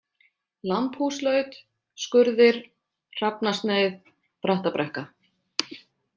Lambhúslaut, Skurðir, Hrafnasneið, Brattabrekka